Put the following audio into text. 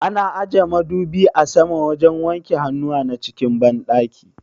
Ana aje madubi a saman wajen wanke hannuwa na cikin banɗaki